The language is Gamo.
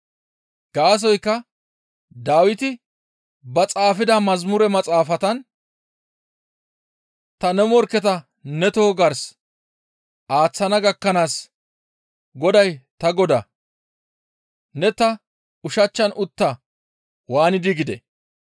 Gaasoykka Dawiti ba xaafida mazamure maxaafatan, ‹Ta ne morkketa ne toho gars aaththana gakkanaas Goday ta Godaa, ne ta ushachchan utta› waanidi gidee?